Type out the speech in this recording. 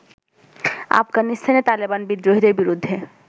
আফগানিস্তানে তালেবান বিদ্রোহীদের বিরুদ্ধে